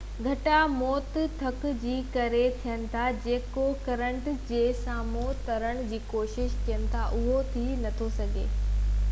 گهڻا موت ٿڪ جي ڪري ٿين ٿا جيڪو ڪرنٽ جي سامهون ترڻ جي ڪوشش ڪن ٿا اهو ٿي نٿو سگهي